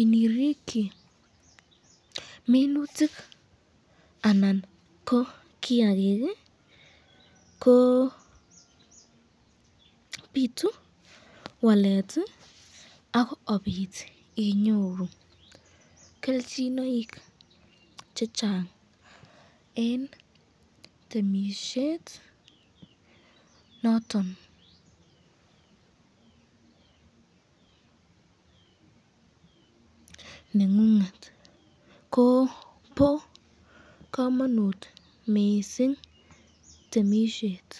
inirikyi minutik anan ko kiakik, ko bitu wslet ak kobit inyoru kelchinoik chechang eng temisyet noton nengung et, ko bo kamanut mising temisyet.